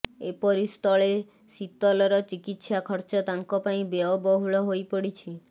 ଏପରି ସ୍ଥଳେ ଶୀତଲର ଚିକିତ୍ସା ଖର୍ଚ୍ଚ ତାଙ୍କ ପାଇଁ ବ୍ୟୟବହୁଳ ହୋଇପଡିଛି